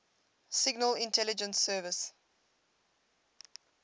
signal intelligence service